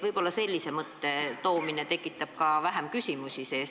Võib-olla sellise mõtte väljatoomine tekitab edaspidi vähem küsimusi.